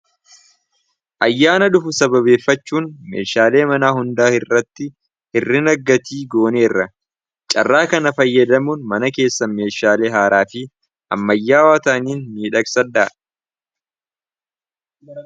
.Ayyaana dhufu sababeeffachuun meeshaalee manaa hundaa irratti hirrina gatii gooneerra. Carraa kana fayyadamuun mana keessa meeshaalee haaraa fi ammayyaawaa ta'aniin midhaaksadhaa